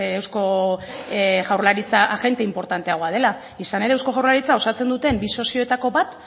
eusko jaurlaritza agente inportanteagoa dela izan ere eusko jaurlaritza osatzen duten bi sozioetako bat